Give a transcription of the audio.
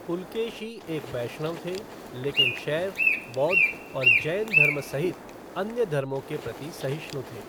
पुलकेशी एक वैष्णव थे, लेकिन शैव, बौद्ध और जैन धर्म सहित अन्य धर्मों के प्रति सहिष्णु थे।